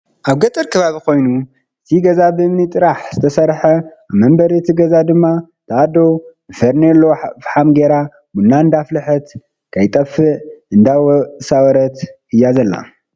ኣብ ገጠር ከባቢ ኮይኑ እቲ ገዛ በእምኒ ጥራሕ ዝተሰረሐ ኣብ በሪ አቲ ገዛ ድማ እታኣዶ ብፌርነሎ ፋሓም ጌራ ቡና እንዳፍለጠት ከይጠፈኣ እንዳሳወረት እያ ዘላ።